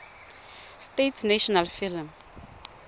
states national film